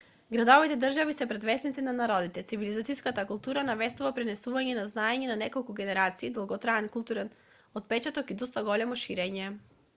градовите-држави се предвесниците на народите. цивилизациска култура навестува пренесувањe на знаење на неколку генерации долготраен културен отпечаток и доста големо ширење